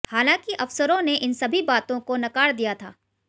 हालांकि अफसरों ने इन सभी बातों को नकार दिया था